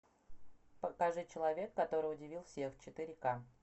покажи человек который удивил всех четыре ка